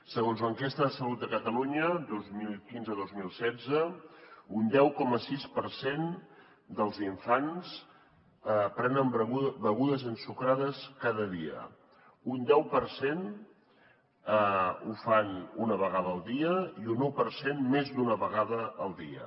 segons l’enquesta de salut de catalunya dos mil quinze dos mil setze un deu coma sis per cent dels infants prenen begudes ensucrades cada dia un deu per cent ho fan una vegada al dia i un un per cent més d’una vegada al dia